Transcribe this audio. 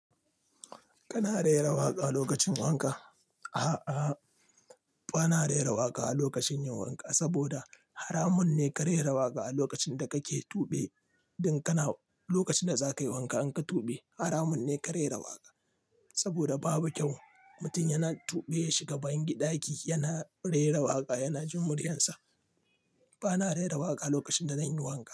Kana rera waƙa lokacin wanka? A'a, bana rera waƙa a lokacin yin wanka saboda haramun ne ka rera waƙa a lokacin da kake tube. Lokacin da zakayi wanka in ka tube haramun ne ka rera waƙa. Saboda babu kyau mutum yana tube ya shiga ban ɗaki yana rera waƙa, yana jin muryarsa. Bana rera waƙa lokacin da nayi wanka.